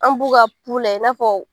An b'u ka layɛ i n'a fɔ.